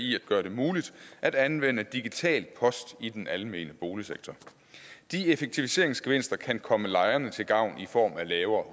i at gøre det muligt at anvende digital post i den almene boligsektor de effektiviseringsgevinster kan komme lejerne til gavn i form af lavere